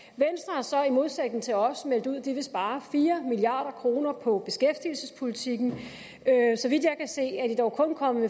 har så i modsætning til os meldt ud at de vil spare fire milliard kroner på beskæftigelsespolitikken så vidt jeg kan se er de dog kun kommet